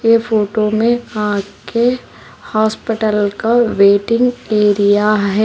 Photo में हाथ के हॉस्पिटल का वेटिंग एरिया है।